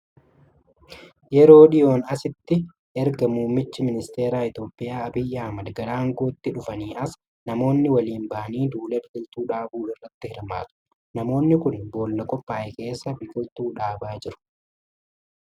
Yeroo dhiyoon asitti ega erga muummichi ministeeraa Itiyoophiyaa Abiyyi Ahimed gara aangootti dhuganii as, namoonni waliin ba'anii duula biqiltuu dhaabuu irratti hirmaatu. Namoonni kun boolla qophaa'e keessa biqiltuu dhaabaa jiru.